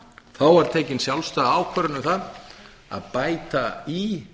þá var tekin sjálfstæð ákvörðun um það að bæta í